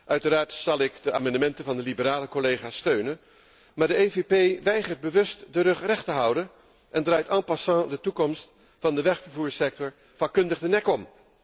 Uiteraard zal ik de amendementen van de liberale collega's steunen, maar de EVP weigert bewust de rug recht te houden en draait en passant de toekomst van de wegvervoersector vakkundig de nek om.